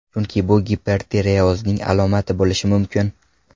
Chunki bu gipertireozning alomati bo‘lishi mumkin.